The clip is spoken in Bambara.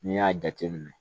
N'i y'a jateminɛ